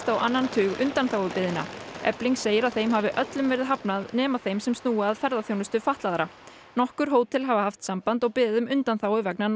á annan tug undanþágubeiðna efling segir að þeim hafi öllum verið hafnað nema þeim sem snúa að ferðaþjónustu fatlaðra nokkur hótel hafa haft samband og beðið um undanþágu vegna